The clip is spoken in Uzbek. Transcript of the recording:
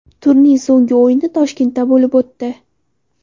Turning so‘nggi o‘yini Toshkentda bo‘lib o‘tdi.